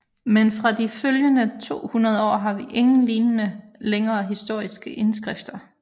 Men fra de følgende 200 år har vi ingen lignende længere historiske indskrifter